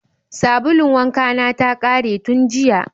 Sabulun wankana ta ƙare tun jiya.